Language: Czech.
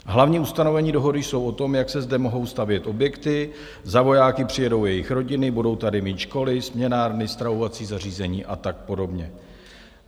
Hlavní ustanovení dohody jsou o tom, jak se zde mohou stavět objekty, za vojáky přijedou jejich rodiny, budou tady mít školy, směnárny, stravovací zařízení a tak podobně.